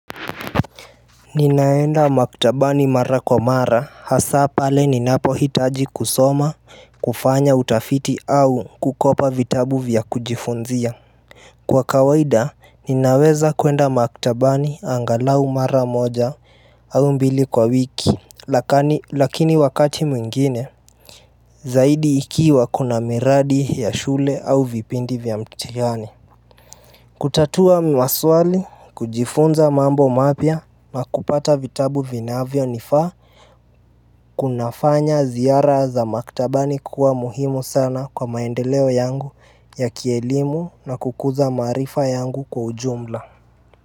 Ninaenda maktabani mara kwa mara hasa pale ninapohitaji kusoma kufanya utafiti au kukopa vitabu vya kujifunzia Kwa kawaida ninaweza kuenda maktabani angalau mara moja au mbili kwa wiki lakani lakini wakati mwingine Zaidi ikiwa kuna miradi ya shule au vipindi vya mtihani kutatua maswali, kujifunza mambo mapya na kupata vitabu vinavyonifaa kunafanya ziara za maktabani kuwa muhimu sana kwa maendeleo yangu ya kielimu na kukuza marifa yangu kwa ujumla.